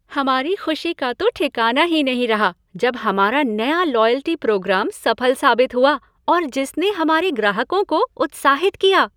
हमारी ख़ुशी का तो ठिकाना ही नहीं रहा जब हमारा नया लॉयल्टी प्रोग्राम सफल साबित हुआ और जिसने हमारे ग्राहकों को उत्साहित किया।